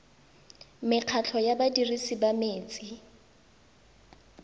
mekgatlho ya badirisi ba metsi